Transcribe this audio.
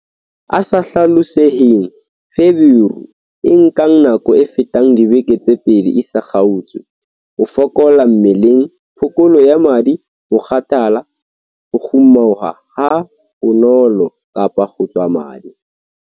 A sa hlaloseheng- Feberu e nkang nako e fetang dibeke tse pedi e sa kgaotse, ho fokola mmeleng, phokolo ya madi, mokgathala, ho kgumuha habonolo kapa ho tswa madi.